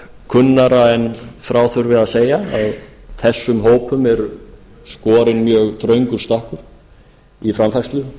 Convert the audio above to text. það kunnara en frá þurfi að segja að þessum hópum er skorinn mjög þröngur stakkur í framfærslu